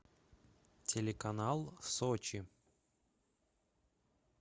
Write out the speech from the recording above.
телеканал сочи